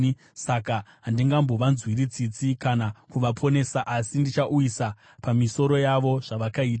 Saka handingambovanzwira tsitsi kana kuvaponesa, asi ndichauyisa pamisoro yavo zvavakaita.”